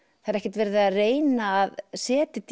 það er ekkert verið að reyna að setja